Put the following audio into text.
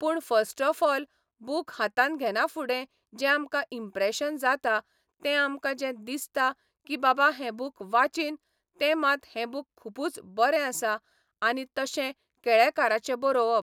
पूण first of all book हातांत घेना फुडें जें आमकां इंम्प्रेशन जाता तें आमकां जें दिसता की बाबा हे बूक वाचीन ते मात हें बूक खूबुच बरें आसा आनी तशें केळेकाराचें बरोवप